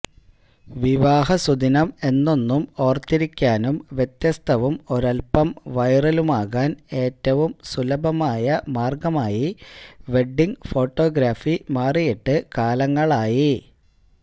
വിവാഹ സുദിനം എന്നെന്നും ഓര്ത്തിരിക്കാനും വ്യത്യസ്തവും ഒരല്പ്പം വൈറലുമാകാന് ഏറ്റവും സുലഭമായ മാര്ഗമായി വെഡ്ഡിംഗ് ഫോട്ടോഗ്രഫി മാറിയിട്ട് കാലങ്ങളായി